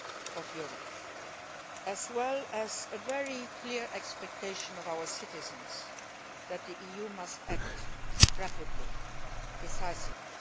of Europe, as well as a very clear expectation from our citizens that the EU must act rapidly and decisively.